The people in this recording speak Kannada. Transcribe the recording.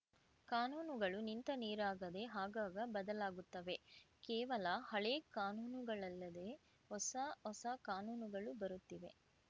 ಕಾನೂನುಗಳು ನಿಂತ ನೀರಾಗದೇ ಆಗಾಗ ಬದಲಾಗುತ್ತವೆ ಕೇವಲ ಹಳೆ ಕಾನೂನುಗಳಲ್ಲದೇ ಹೊಸಹೊಸ ಕಾನೂನುಗಳು ಬರುತ್ತಿವೆ